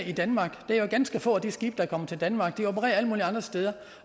i danmark det er jo ganske få af de skibe der kommer til danmark de opererer alle mulige andre steder